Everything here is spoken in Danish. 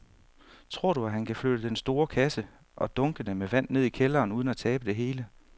Tror du, at han kan flytte den store kasse og dunkene med vand ned i kælderen uden at tabe det hele?